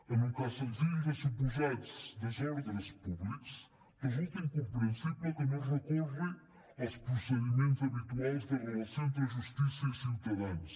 en un cas senzill de suposats desordres públics resulta incomprensible que no es recorri als procediments habituals de relació entre justícia i ciutadans